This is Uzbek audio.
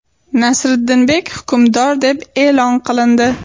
Nasriddinbek hukmdor deb e’lon qilindi.